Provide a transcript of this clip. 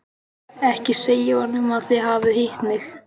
Ekki segja honum að þið hafið hitt mig.